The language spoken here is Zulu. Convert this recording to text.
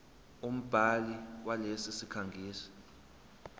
umbhali walesi sikhangisi